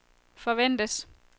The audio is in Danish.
forventes